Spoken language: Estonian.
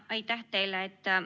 Aitäh teile!